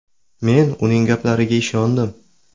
Men uning gaplariga ishondim.